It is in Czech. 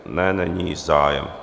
Ne, není zájem.